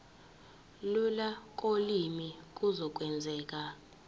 lula kolimi kuzokwenzeka